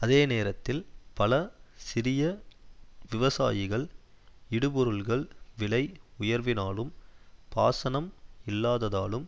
அதே நேரத்தில் பல சிறிய விவசாயிகள் இடுபொருள்கள் விலை உயர்வினாலும் பாசனம் இல்லாததாலும்